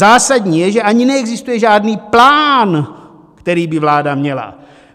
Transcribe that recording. Zásadní je, že ani neexistuje žádný plán, který by vláda měla.